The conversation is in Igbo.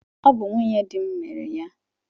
Ọ bụ nwunye di m mere ya